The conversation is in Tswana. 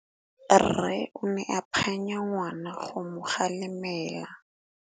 Rre o ne a phanya ngwana go mo galemela.